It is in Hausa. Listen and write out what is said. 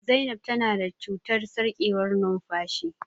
Zainab ta na da cutar sarƙewar numfashi